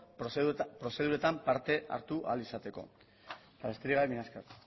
prozeduretan parte hartu ahal izateko eta besterik gabe mila esker